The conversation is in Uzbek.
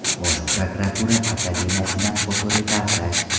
Bosh prokuratura akademiyasidan fotoreportaj.